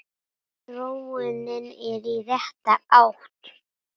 Þróunin er í rétta átt.